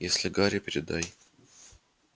если гарри передай